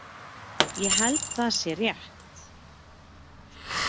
Ég held það sé rétt.